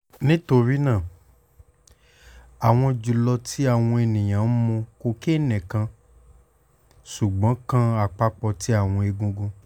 nítorínáà àwọn julọ tí àwọn ènìyàn mu ko nikan cocaine sugbon kan apapo ti awọn egungun